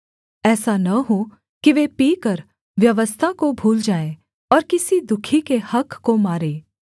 ऐसा न हो कि वे पीकर व्यवस्था को भूल जाएँ और किसी दुःखी के हक़ को मारें